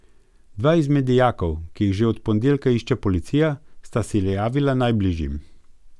Dva izmed dijakov, ki jih že od ponedeljka išče policija, sta se javila najbližjim.